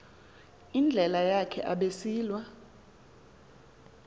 indlela yakhe abesilwa